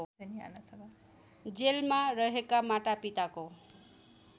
जेलमा रहेका मातापिताको